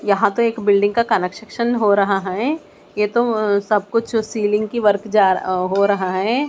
यहां तो एक बिल्डिंग का कनेक्शन हो रहा है ये तो सब कुछ सीलिंग की वर्क जा हो रहा है।